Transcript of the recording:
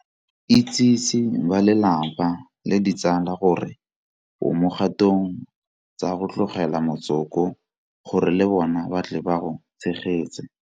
Itsese balelapa le ditsala gore o mo dikgatong tsa go tlogela motsoko gore le bona ba tle ba go tshegetse.